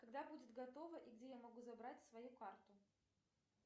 когда будет готова и где я могу забрать свою карту